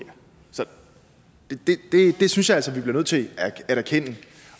så det synes jeg altså vi bliver nødt til at erkende